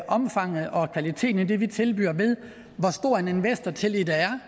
omfanget og kvaliteten af det vi tilbyder ved hvor stor en investortillid der er